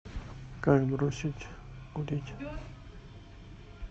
как бросить курить